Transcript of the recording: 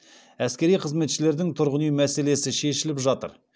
әскери қызметшілердің тұрғын үй мәселесі шешіліп жатыр